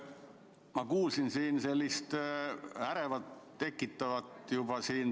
Ma kuulsin siin sellist ärevust tekitavat repliiki.